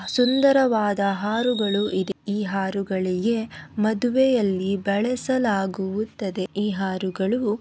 ಸುಂದರವಾದ ಹಾರಗಳು ಇವೆ ಈ ಹಾರಗಳಿಗೆ ಮದುವೆಯಲ್ಲಿ ಬಳಸಲಾಗುತ್ತದೆ ಈ ಹಾರಗಳು--